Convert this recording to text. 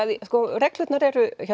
reglurnar eru